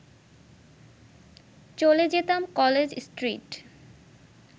চলে যেতাম কলেজ স্ট্রিট